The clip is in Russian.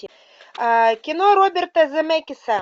кино роберта земекиса